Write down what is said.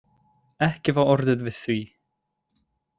Ekki var orðið við því